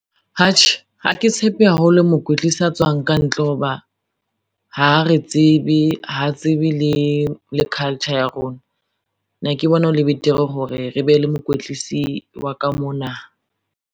Atjhe ha ke tshepe haholo mokwetlisi a tswang ka ntle ho ba, ha re tsebe ha tsebe le culture ya rona, ne ke bona hole betere hore re be le mokwetlisi wa ka mona.